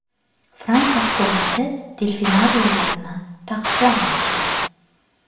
Fransiya hukumati delfinariylarni taqiqlamoqchi.